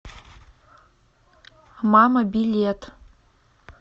мама билет